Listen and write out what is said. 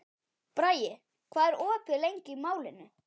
Bragi, hvað er opið lengi í Málinu?